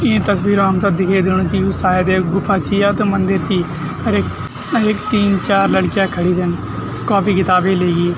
इं तस्वीर म हमथे दिखे दिणू च यु सायद एक गुफा ची या त मंदिर ची अर एक अर एक तीन चार लड़कियां खड़ीं छन कॉपी किताबे लेकी।